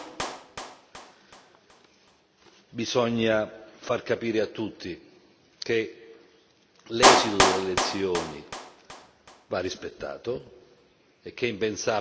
Bisogna far capire a tutti che l'esito delle elezioni va rispettato e che è impensabile pensare a delle rivincite.